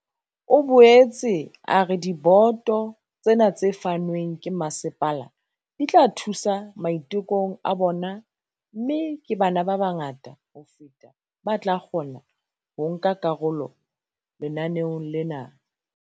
O boetse a re diboto tsena tse fanweng ke masepala di tla thusa maitekong a bona mme ke bana ba bangata ho feta ba tla kgona ho nka karolo lenaneong lena.